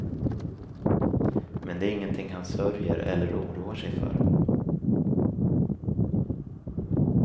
Men det är ingenting han sörjer eller oroar sig för.